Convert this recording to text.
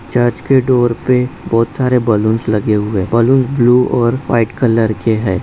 Church के door पे बहुत सारे बैलून्स लगे हुए है बैलून्स ब्लु और वाइट कलर के है।